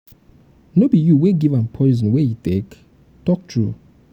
no be you wey give am poison wey he take? talk true